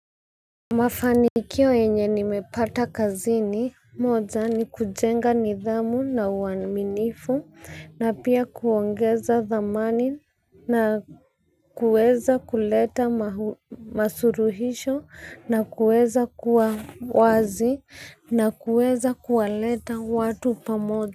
Mafanikio yenye nimepata kazini moja ni kujenga nidhamu na uaminifu na pia kuongeza dhamani na kuweza kuleta masuluhisho na kuweza kuwa wazi na kuweza kuwaleta watu pamoja.